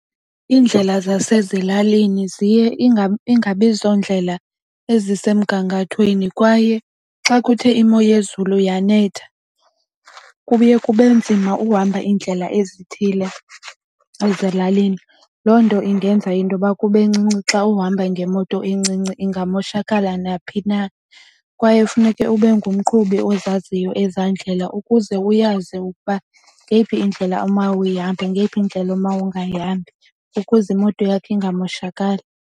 Iindlela zasezilalini ziye ingabi zondlela ezisemgangathweni kwaye xa kuthe imo yezulu yanetha kuye kube nzima uhamba iindlela ezithile ezilalini. Loo nto ingenza intoba kube ncinci xa uhamba ngemoto encinci ingamoshakala naphi na. Kwaye funeke ube ngumqhubi ozaziyo ezaa ndlela ukuze uyazi ukuba ngeyiphi indlela oma uyahambe ngeyiphi indlela oma ungayihambi ukuze imoto yakho ingamoshakali.